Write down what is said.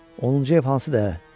Onuncu ev hansıdır, ə?